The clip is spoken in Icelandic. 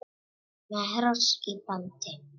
Með hross í bandi.